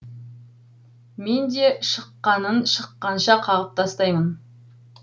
мен де шыққанын шыққанша қағып тастаймын